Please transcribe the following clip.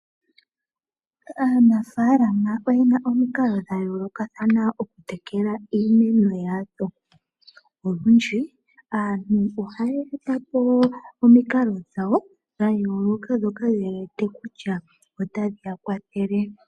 Aanafalama oye na omikalo dha yooloka okutekela iimeno yawo. Olundji aantu ohaya eta po omikalo dhawo dha yooloka ndhoka ye wete kutya otadhi ya kwathele.